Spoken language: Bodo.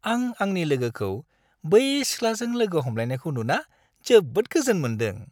आं आंनि लोगोखौ बै सिख्लाजों लोगो हमलायनायखौ नुना जोबोद गोजोन मोन्दों।